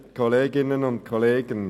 Kommissionssprecher der SAK.